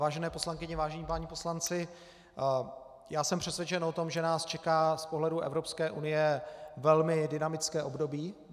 Vážené poslankyně, vážení páni poslanci, já jsem přesvědčen o tom, že nás čeká z pohledu Evropské unie velmi dynamické období.